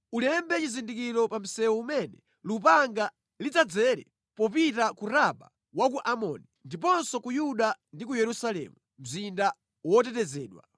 Ulembe chizindikiro pa msewu umene lupanga lidzadzere popita ku Raba wa ku Amoni, ndiponso ku Yuda ndi ku Yerusalemu, mzinda wotetezedwa.